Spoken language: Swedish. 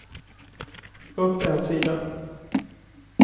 upp en sida